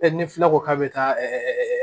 ni filɛ ko k'a bɛ taa